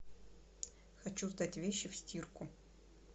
хочу сдать вещи в стирку